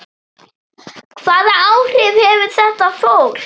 Hvaða áhrif hefur þetta fólk?